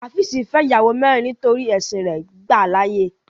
Háfìsí fẹ́ iyàwọ mẹ̀rìn nítorí ẹ̀ṣìn rè gbà láàyè.